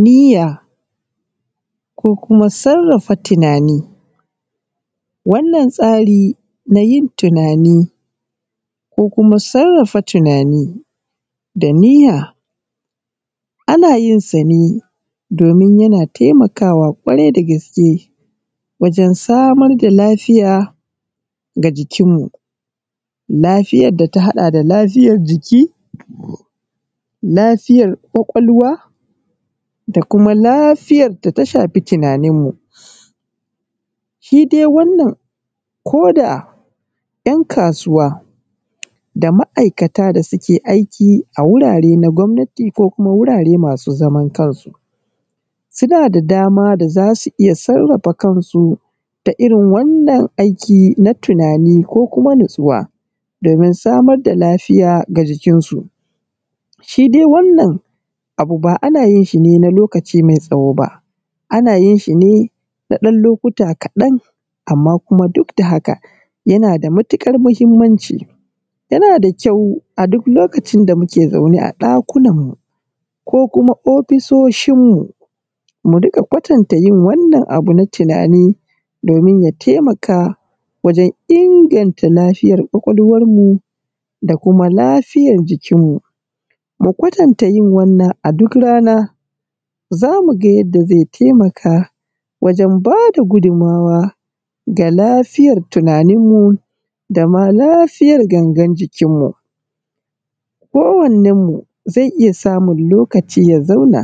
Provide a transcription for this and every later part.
Niyya ko kuma sarrafa tunani. Wannan tsari na yin tunani ko kuma sarrafa tunani da niyya ana yin sa ne domin yana taimakawa ƙwarai da gaske wajan samar da lafiya ga jikin mu. Lafiyar da ta haɗa da lafiyar jiki, lafiyan ƙwaƙwalwa da kuma lafiyar da ta shafi tunanin mu. Shi dai wannan ko da ‘yan kasuwa da ma’aikata da suke aiki a wurare na gwamnati ko kuma wurare masu zaman kansu, suna da dama da za su iya sarrafa kansu ta irin wannan aiki ta tunani ko kuma nastuwa domin samar da lafiya ga jikin su. Shi dai wannan abu ba ana yin shi ne na lokaci mai tsawo ba, ana yin shi ne na ɗan lokuta kaɗan amma kuma duk da haka yana da matuƙar muhimmanci. Yana da kyau a duk lokacin da muke zaune a ɗakunan mu ko kuma ofisoshin mu, mu rinƙa kwatanta yin wannan abu na tunani domim ya taimaka wajan inganta lafiyar ƙwaƙwalwan mu, da kuma lafiyar jikinmu. Kwatanta yin wannan a duk rana za mu ga yadda zai taimaka wajan ba da gudunmawa ga lafiyar tunanin mu da ma lafiyar gangar jikin mu. kowannen mu zai iya samun lokaci ya zauna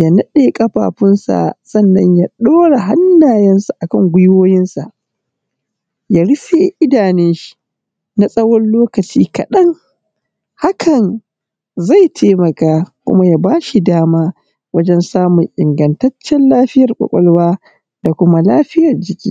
ya naɗe ƙafafunsa, sannan ya ɗaura hanayensa akan gwiwoyinsa ya rufe idanun shi na tsawan lokaci kaɗan, hakan zai taimaka kuma ya ba shi dama wajan samun ingatacen lafiyar ƙwaƙwalwa da kuma lafiyan jiki.